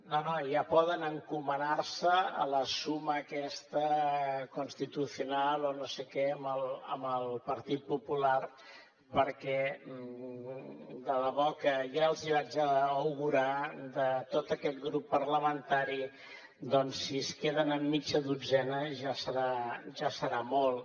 no no ja poden encomanar se a la suma aquesta constitucional o no sé què amb el partit popular perquè de debò que ja els hi vaig augurar de tot aquest grup parlamentari doncs si es queden amb mitja dotzena ja serà molt